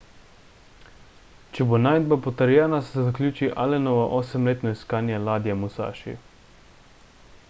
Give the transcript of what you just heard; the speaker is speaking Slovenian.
če bo najdba potrjena se zaključi allenovo osemletno iskanje ladje musaši